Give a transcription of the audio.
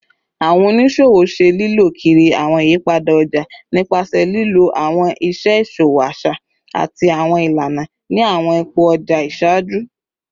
Awọn oniṣowo ṣe lilọ kiri awọn iyipada ọja nipasẹ lilo awọn iṣe iṣowo aṣa ati awọn ilana ni awọn ipo ọja iṣaaju